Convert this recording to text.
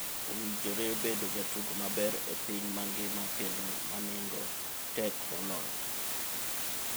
Owinjore bedo jatugo maber e piny mangima kendo manengo tek moloyo?